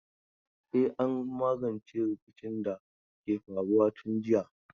E, an magance rikicin da ke faruwa tun jiya.